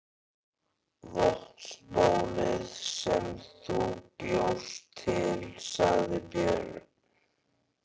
Vatnsbólið sem þú bjóst til, sagði Björn.